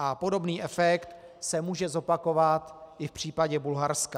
A podobný efekt se může zopakovat i v případě Bulharska.